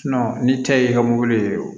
ni cɛ y'i ka mobili ye o